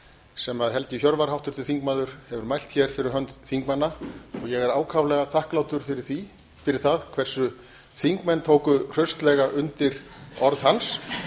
sem helgi hjörvar háttvirtur þingmaður hefur mælt hér fyrir hönd þingmanna ég er ákaflega þakklátur fyrir það hversu þingmenn tóku hraustlega undir orð hans